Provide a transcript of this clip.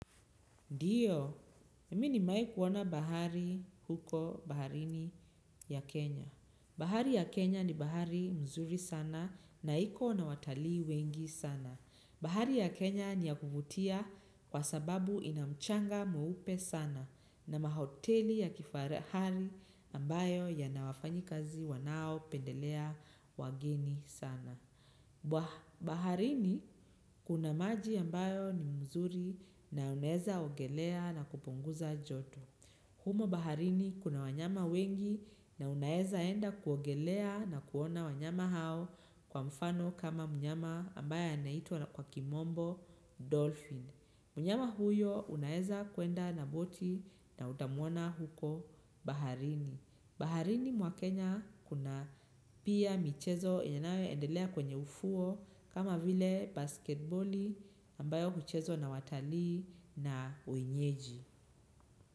Ndiyo, mimi nimeai kuona bahari huko baharini ya Kenya. Bahari ya Kenya ni bahari mzuri sana na iko na watalii wengi sana. Bahari ya Kenya ni ya kuvutia kwa sababu ina mchanga mweupe sana na mahoteli ya kifahari hali ambayo yana wafanyikazi wanaopendelea wageni sana. Baharini kuna maji ambayo ni mzuri na unaeza ogelea na kupunguza joto. Humo baharini kuna wanyama wengi na unaeza enda kuogelea na kuona wanyama hao kwa mfano kama mnyama ambayo anaitwa kwa kimombo dolphin. Mnyama huyo unaeza kuenda na boti na utamwona huko baharini. Baharini mwa kenya kuna pia michezo yanayoendelea kwenye ufuo kama vile basketboli ambayo huchezwa na watalii na wenyeji.